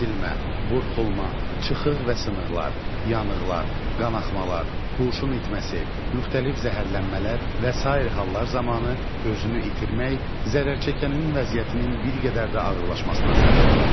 Əzilmə, burxulma, çıxıq və sınıqlar, yanıqlar, qanaxmalar, huşun itməsi, müxtəlif zəhərlənmələr və sair hallar zamanı özünü itirmək zərərçəkənin vəziyyətinin bir qədər də ağırlaşmasına səbəb ola bilər.